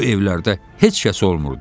Bu evlərdə heç kəs olmurdu.